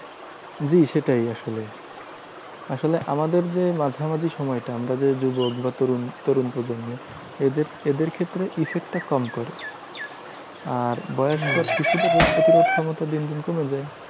জি সেটাই আসলে। আসলে আমাদের যে মাঝামাঝি সময়টা আমরা যে যুবক বা তরুণ তরুণ প্রজন্ম, এদের এদের ক্ষেত্রে effect টা কম করে। আর বয়স্ক আর শিশুদের রোগ প্রতিরোধ ক্ষমতা দিন দিন কমে যায়।